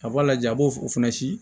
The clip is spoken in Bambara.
A b'a lajɛ a b'o fana si